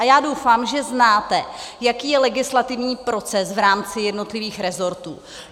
A já doufám, že znáte, jaký je legislativní proces v rámci jednotlivých resortů.